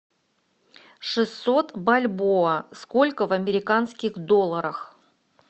шестьсот бальбоа сколько в американских долларах